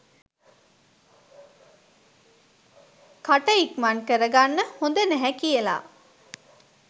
කට ඉක්මන් කරගන්න හොද නැහැ කියල.